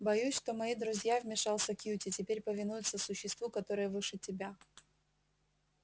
боюсь что мои друзья вмешался кьюти теперь повинуются существу которое выше тебя